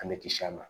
An bɛ kisi a ma